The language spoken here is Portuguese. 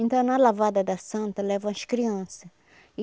Então, na Lavada da Santa, levam as criança.